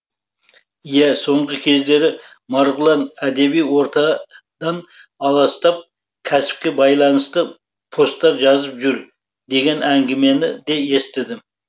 иә соңғы кездері марғұлан әдеби ортадан аластап кәсіпке байланысты посттар жазып жүр деген әңгімені де естідім